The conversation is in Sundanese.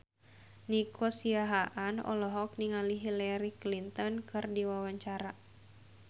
Nico Siahaan olohok ningali Hillary Clinton keur diwawancara